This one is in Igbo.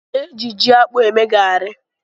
Eji ji akpụ eme garị.